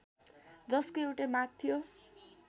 जसको एउटै माग थियो